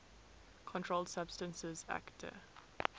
controlled substances acte